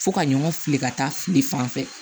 Fo ka ɲɔgɔn fili ka taa fili fan fɛ